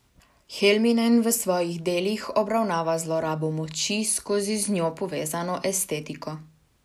Helminen v svojih delih obravnava zlorabo moči skozi z njo povezano estetiko.